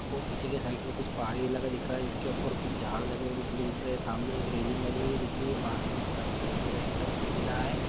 -- ओ पीछे के साइड मे कुछ पहाड़ी इलाका दिख रहा हैं जिसके उपर कुछ झाड़ लगे हुए निकले दिख रहे हैं सामने एक रैलिंग बने हुए दिख रही है पास में एक बाइक के पीछे का हिस्सा दिखाई दे रहा हैं।